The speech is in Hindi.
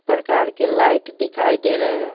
प्रकार के लाइट दिखाई दे रहे हैं।